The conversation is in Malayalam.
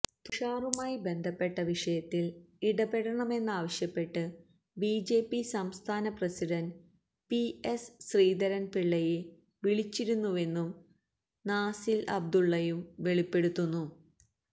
തുഷാറുമായി ബന്ധപ്പെട്ട വിഷയത്തില് ഇടപെടണമെന്നാവശ്യപ്പെട്ട് ബിജെപി സംസ്ഥാന പ്രസിഡന്റ് പി എസ് ശ്രീധരന് പിള്ളയെ വിളിച്ചിരുന്നുവെന്നും നാസില് അബ്ദുള്ളയും വെളിപ്പെടുത്തുന്നു